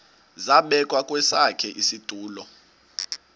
zabekwa kwesakhe isitulo